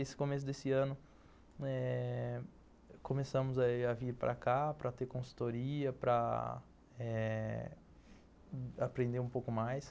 Esse começo desse ano, eh... começamos a vir para cá para ter consultoria, para eh... aprender um pouco mais.